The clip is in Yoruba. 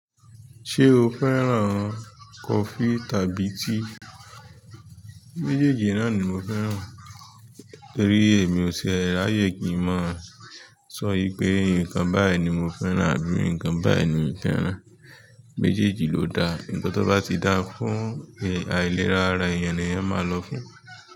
Ṣé o fẹ́ràn coffee tàbí tea? Méjèèjì náà ni mo fẹ́ràn torí èmi ò ti e ráyé kí n mọ sọ pé ǹkan báyìí ni mo fẹ́ràn àbí ǹkan báyìí ni n fẹ́ràn. Méjèèjì ló dá ǹkan tó bá ti lò fún àìlera ara èèyàn ni èèyàn ma lò fún.